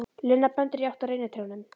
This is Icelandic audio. Lena bendir í átt að reynitrjánum.